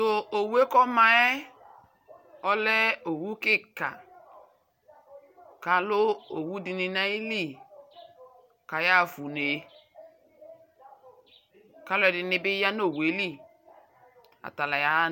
talʋ wa aka tɛ ikpa nʋ alɛ kʋ aka zɔli alɛ nʋ ʋsɛ nʋ alɛnɛ aba kʋtʋ ba dʋdzi kʋ aba tɔnʋ alɔ nʋ ʋmaɛli imʋ. avɛ nʋ aƒa kʋ aka tɛ ɛkʋ nʋ alɛ dʋila.